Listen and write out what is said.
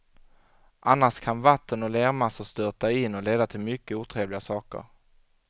Annars kan vatten och lermassor störta in och leda till mycket otrevliga saker.